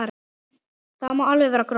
Það má alveg vera gróft.